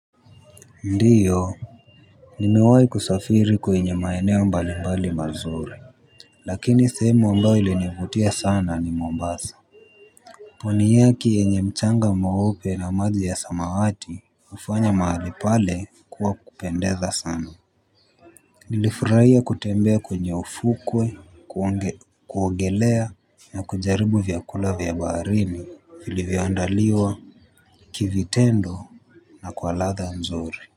Ndiyo nimewai kusafiri kwenye maeneo mbali mbali mazuri lakini semu ambao ilinivutia sana ni mombasa pwani yake yenye mchanga meupe na maji ya samawati ufanya mahali pale kuwa kupendeza sana nilifurahia kutembea kwenye ufukwe kuogelea na kujaribu vyakula vyabaharini filivyondaliwa kivitendo na kwa ladha mzuri. Kwa hivyo.